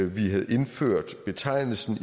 vi havde indført betegnelsen